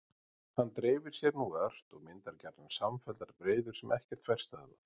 Hann dreifir sér nú ört og myndar gjarnan samfelldar breiður sem ekkert fær stöðvað.